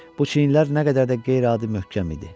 Bu çiynlər nə qədər də qeyri-adi möhkəm idi.